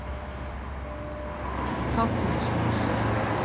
Fáfnisnesi